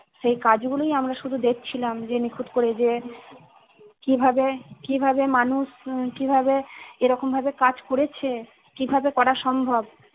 সেই কাজ গুলোই আমরা শুধু দেখছিলাম। যে নিখুঁত করে যে কিভাবে কিভাবে মানুষ কিভাবে এরকম ভাবে কাজ করেছে। কিভাবে করা সম্ভব